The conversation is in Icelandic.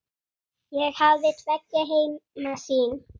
Ég hafði tveggja heima sýn.